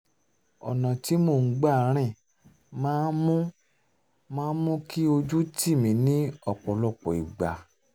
ọ̀nà tí mò ń gbà rìn máa ń mú máa ń mú kí ojú tì mí ní ọ̀pọ̀lọpọ̀ ìgbà